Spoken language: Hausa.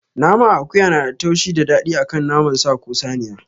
Naman akuya nada taushi da daɗi akan naman sa ko saniya